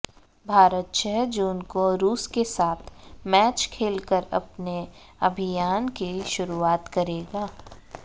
भारत छह जून को रुस के साथ मैच खेलकर अपने अभियान की शुरुआत करेगा